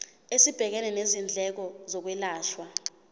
esibhekene nezindleko zokwelashwa